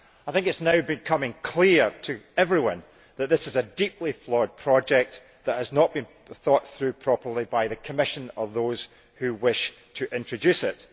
I think it is now becoming clear to everyone that this is a deeply flawed project which has not been thought through properly by the Commission or those who wish to introduce it.